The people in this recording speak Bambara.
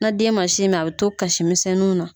Na den ma sin min a bɛ to kasimisɛnninw na.